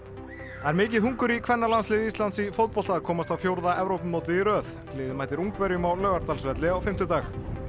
það er mikið hungur í kvennalandsliði Íslands í fótbolta að komast á fjórða Evrópumótið í röð liðið mætir Ungverjum á Laugardalsvelli á fimmtudag